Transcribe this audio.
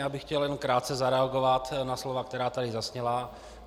Já bych chtěl jenom krátce zareagovat na slova, která tady zazněla.